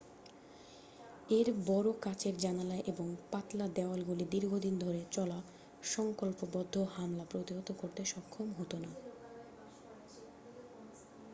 এর বড় কাচের জানালা এবং পাতলা দেওয়ালগুলি দীর্ঘদিন ধরে চলা সংকল্পবদ্ধ হামলা প্রতিহত করতে সক্ষম হত না